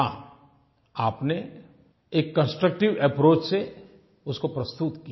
हाँ आपने एक कंस्ट्रक्टिव अप्रोच से उसको प्रस्तुत किया